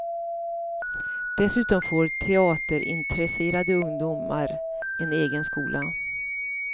Dessutom får teaterintresserade ungdomar en egen skola.